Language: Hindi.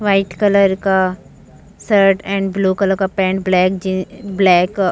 व्हाइट कलर का शर्ट एंड ब्लू कलर का pant black jeans black uh --